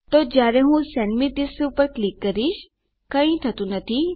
તો જયારે હું સેન્ડ મે થિસ ક્લિક કરીશ કઈ થતું નથી